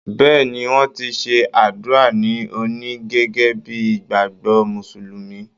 Bẹ́ẹ̀ni, wọ́n ti ṣe àdúà ní òní gẹ́gẹ́ bíi ìgbàgbọ́ Mùsùlùmí.